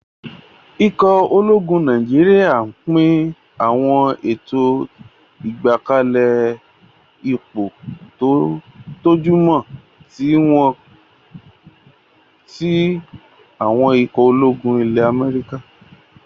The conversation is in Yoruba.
Ikọ̀ ológun Nàìjíríyà n pín àwọn ètò ìgbákalẹ̀ ipò tó jọmọ́ tí àwọn ikọ̀ ológun ilẹ́ Amẹ́ríkà